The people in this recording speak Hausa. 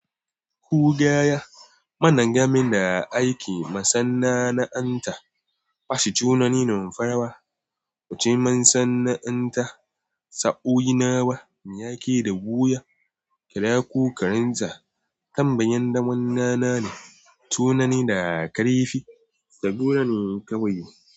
Kugaya, mana gameda aiki masanna'anta, basu tunani nan farawa, wuce ma sanna'anta. Sa'o'i nawa mu yake da buya? Kyale ku karanta, tambayan da munnana ne, tunani da aka rufe, tabura ne kawai.